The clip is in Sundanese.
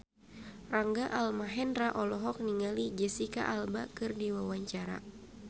Rangga Almahendra olohok ningali Jesicca Alba keur diwawancara